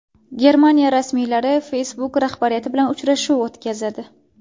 Germaniya rasmiylari Facebook rahbariyati bilan uchrashuv o‘tkazadi.